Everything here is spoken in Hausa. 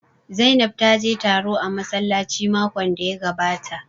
Zainab ta je taro a massalaci makon da ya gabata